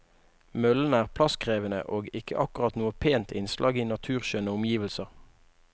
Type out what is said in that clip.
Møllene er plasskrevende og ikke akkurat noe pent innslag i naturskjønne omgivelser.